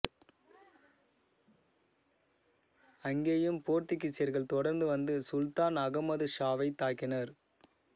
அங்கேயும் போர்த்துகீசியர்கள் தொடர்ந்து வந்து சுல்தான் அகமது ஷாவைத் தாக்கினர்